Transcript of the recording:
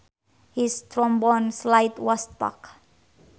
His trombone slide was stuck